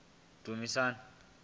dumasi